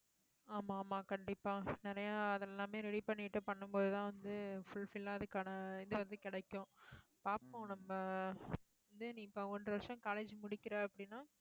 ஆமா, ஆமா, கண்டிப்பா நிறைய அதெல்லாமே ready பண்ணிட்டு பண்ணும் போதுதான் வந்து, fulfill ஆ அதுக்கான இது வந்து கிடைக்கும். பாப்போம் நம்ம வந்து நீ இப்ப ஒன்றரை வருஷம் college முடிக்கிறே அப்படின்னா